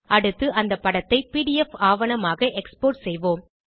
அடுத்து அந்த படத்தை பிடிஎஃப் ஆவணமாக எக்ஸ்போர்ட் செய்வோம்